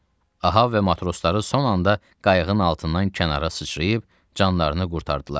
Ahav və matrosları son anda qayığın altından kənara sıçrayıb canlarını qurtardılar.